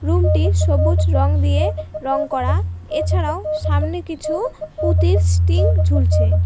Room -টি সবুজ রং দিয়ে রং করা এছাড়াও সামনে কিছু পুতির স্টিং ঝুলছে।